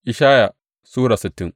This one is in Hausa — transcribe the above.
Ishaya Sura sittin